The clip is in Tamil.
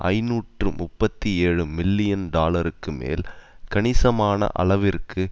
ஐநூற்று முப்பத்தி ஏழு மில்லியன் டாலருக்கு மேல் கணிசமான அளவிற்கு